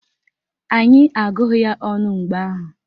Anyị agụghị ya ọnụ mgbe ahụ